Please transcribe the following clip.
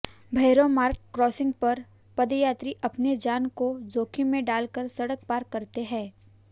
Bhairav Marg crossing पर पदयात्री अपनी जान को जोखिम में डालकर सड़क पार करते हैं